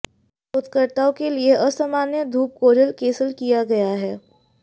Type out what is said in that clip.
शोधकर्ताओं के लिए असामान्य धूप कोरल कैसल किया गया है